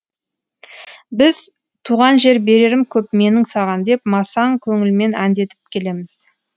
біз туған жер берерім көп менің саған деп масаң көңілмен әндетіп келеміз